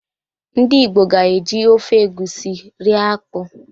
Ndị Igbo ga-eji ofe egusi rie akpụ